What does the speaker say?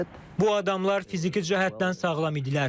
Bu adamlar fiziki cəhətdən sağlam idilər.